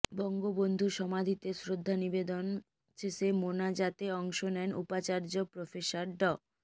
বঙ্গবন্ধুর সমাধিতে শ্রদ্ধা নিবেদন শেষে মোনাজাতে অংশ নেন উপাচার্য প্রফেসর ড